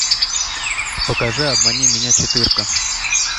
покажи обмани меня четырка